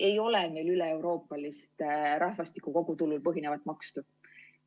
Ei ole meil üleeuroopalist rahvastiku kogutulul põhinevat maksu.